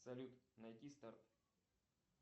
салют найти старт